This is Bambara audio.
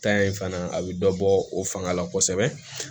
in fana a bɛ dɔ bɔ o fanga la kosɛbɛ